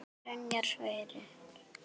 Byrjar Sverrir?